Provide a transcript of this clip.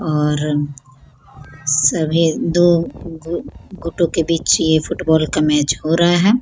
और सभी दो घु घुटो के बीच ये फूटबॉल का मैच हो रहा है।